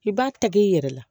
I b'a ta k'i yɛrɛ la